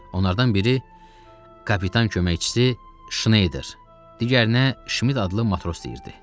Onlardan biri kapitan köməkçisi Şnayder, digərinə Şmit adlı matros deyirdi.